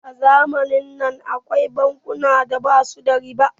a zamanin nan akwai bankuna da basu bada riba